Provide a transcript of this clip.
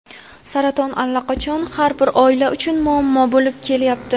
saraton allaqachon har bir oila uchun muammo bo‘lib kelyapti.